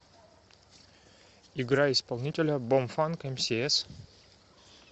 играй исполнителя бомфанк эмсиэс